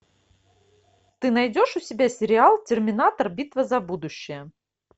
ты найдешь у себя сериал терминатор битва за будущее